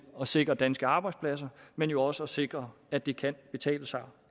at sikre danske arbejdspladser men også at sikre at det kan betale sig